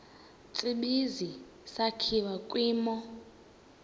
tsibizi sakhiwa kwimo